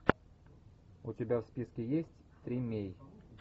у тебя в списке есть тримей